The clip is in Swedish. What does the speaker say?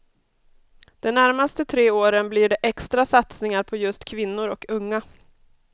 De närmaste tre åren blir det extra satsningar på just kvinnor och unga.